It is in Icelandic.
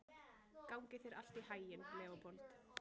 Gangi þér allt í haginn, Leópold.